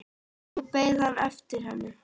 Nú beið hann eftir henni.